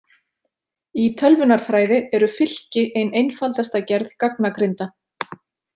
Í tölvunarfræði eru fylki ein einfaldasta gerð gagnagrinda.